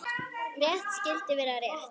Rétt skyldi vera rétt.